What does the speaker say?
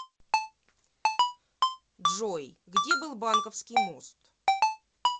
джой где был банковский мост